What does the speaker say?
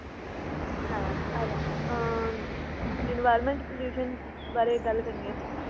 ਹਾਂ ah environment pollution ਬਾਰੇ ਗੱਲ ਕਰਨੀ ਏ ਆਪਾਂ